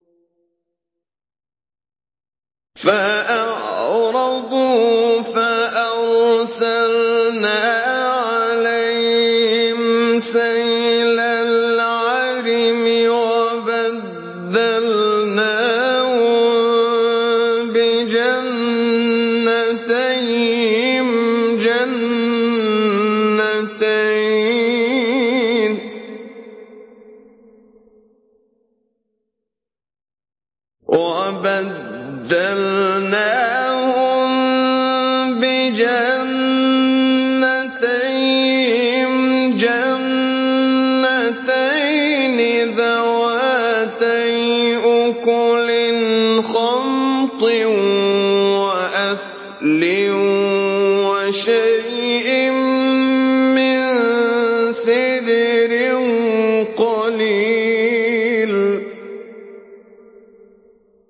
فَأَعْرَضُوا فَأَرْسَلْنَا عَلَيْهِمْ سَيْلَ الْعَرِمِ وَبَدَّلْنَاهُم بِجَنَّتَيْهِمْ جَنَّتَيْنِ ذَوَاتَيْ أُكُلٍ خَمْطٍ وَأَثْلٍ وَشَيْءٍ مِّن سِدْرٍ قَلِيلٍ